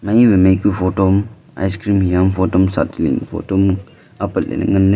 mai wai mai ku photo am ice cream hia am photo ma sa chali photo am apat ley ley ngan ley.